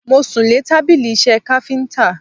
Mo sùn lé tábìlì iṣẹ́ káfíntà.